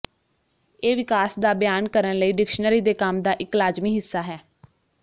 ਇਹ ਵਿਕਾਸ ਦਾ ਬਿਆਨ ਕਰਨ ਲਈ ਡਿਕਸ਼ਨਰੀ ਦੇ ਕੰਮ ਦਾ ਇੱਕ ਲਾਜ਼ਮੀ ਹਿੱਸਾ ਹੈ